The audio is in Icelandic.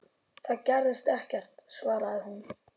Það gerðist ekkert, svaraði hún.